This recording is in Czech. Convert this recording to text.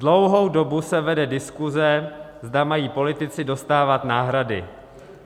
Dlouhou dobu se vede diskuze, zda mají politici dostávat náhrady.